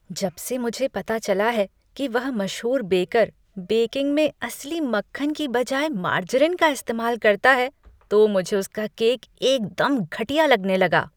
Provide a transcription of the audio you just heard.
जब मुझे पता चला है कि वह मशहूर बेकर बेकिंग में असली मक्खन के बजाय मार्जरीन का इस्तेमाल करता है, तो मुझे उसका केक एकदम घटिया लगा।